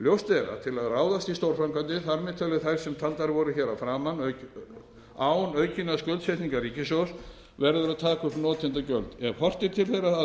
ljóst er að til að ráðast í stórframkvæmdir þar með talið þær sem taldar voru hér að framan án aukinnar skuldsetningar ríkissjóðs verður að taka upp notendagjöld ef horft er til þeirra